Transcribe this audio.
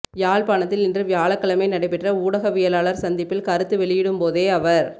யாழ்ப்பாணத்தில் இன்று வியாழக்கிழமை நடைபெற்ற ஊடகவியலாளர் சந்திப்பில் கருத்து வெளியிடும் போதே அவர்